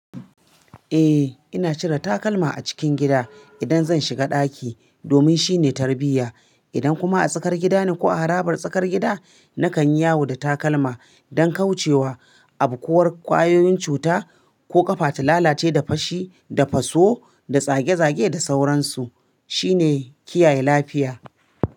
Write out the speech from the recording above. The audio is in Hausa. Eh ina cire takalma a cikin gida idan zan shiga ɗaki domin shine tarbiyya. Idan kuma a tsakar gida ne ko a harabar tsakar gida nakan yi yawo da takalma don kauce wa abu ko kwayoyin cuta ko ƙafa ta lalace da fashi da faso da zage-zage da sauransu. Shi ne kiyaye lafiya.